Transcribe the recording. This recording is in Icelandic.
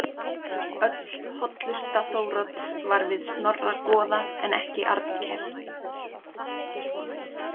Öll hollusta Þórodds var við Snorra goða en ekki Arnkel.